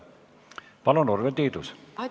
Palun, Urve Tiidus!